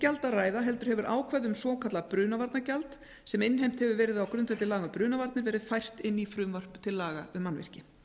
gjald að ræða heldur hefur ákvæði um svokallað brunavarnagjald sem innheimt hefur verið á grundvelli laga um brunavarnir verið fært inn í frumvarp til laga um mannvirki